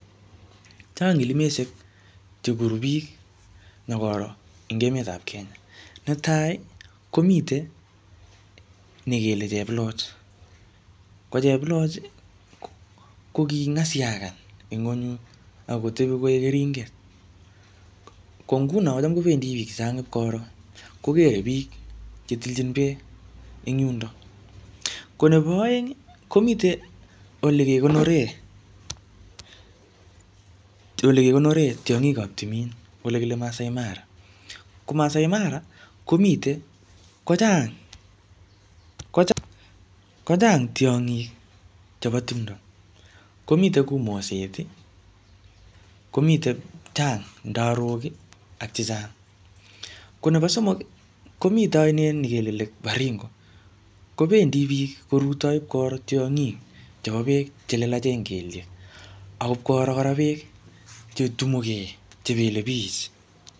Chang ilimiseik chekuru biik nyokoro eng emetap Kenya, netai komiten nekele cheploch, kocheploch ii koking'isiakan en ngwenut akotep koik keringet kongunon kochem kobendi biik sang'ut ipkoroo kokere biik chetilchin beek en yundo, ko nepo aeng komiten olekekonore tiong'kap timin olekile Maasai mara ko Maasai mara komiten kochang tiong'ik chepo timndoo komiten kou moset, komit chang ndarok ak chechang, ko nepo somok komiten ainet nekele lake Baringo kobendi biik korutoi ipkoro tiong'ik chepo beek chelelachen kelyek ak ipkoro kora beek chetumuge chepelebich.